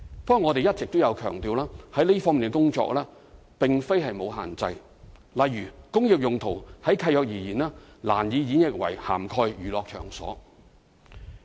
不過，我們一直強調這方面的工作並非沒有限制，例如"工業"用途就契約而言，難以演繹為涵蓋娛樂場所。